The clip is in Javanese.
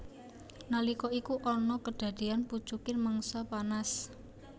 Nalika iku ana kedadeyan pucuking mangsa panas